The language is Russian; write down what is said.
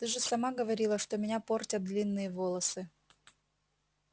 ты же сама говорила что меня портят длинные волосы